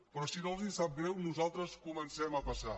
però si no els sap greu nosaltres comencem a passar